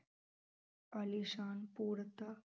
ਆਲੀਸ਼ਾਨ ਪੂਰਤਾ